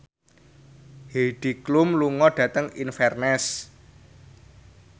Heidi Klum lunga dhateng Inverness